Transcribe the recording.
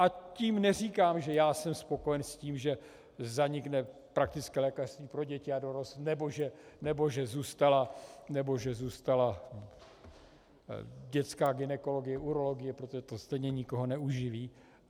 A tím neříkám, že já jsem spokojen s tím, že zanikne praktické lékařství pro děti a dorost nebo že zůstala dětská gynekologie, urologie, protože to stejně nikoho neuživí.